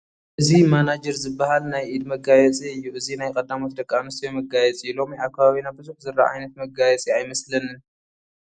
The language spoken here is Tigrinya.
እዚ ማናጅር ዝበሃል ናይ ኢድ መጋየፂ እዩ፡፡ እዚ ናይ ቀዳሞት ደቂ ኣነስትዮ መጋየፂ ሎሚ ኣብ ከባቢና ብዙሕ ዝርአ ዓይነት መጋየፂ ኣይመስለንን፡፡